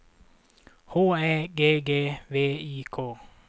H Ä G G V I K